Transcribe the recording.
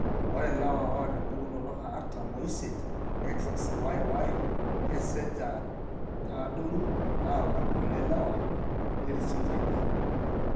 Ore ilewa oata empukunoto eartam oisiet, XXYY kesesh aa kaadoru aalang' kulie lewa lerisioti enye.